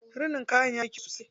Rinin kayan yayi kyau sosai.